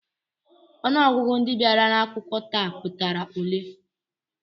Ọnụọgụgụ ndị bịara akwụkwọ taa pụtara ole?